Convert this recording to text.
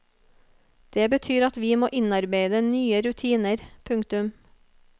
Det betyr at vi må innarbeide nye rutiner. punktum